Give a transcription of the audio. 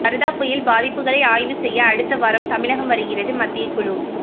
வர்தா புயல் பாதிப்புகளை ஆய்வு செய்ய அடுத்த வாரம் தமிழகம் வருகிறது மத்திய குழு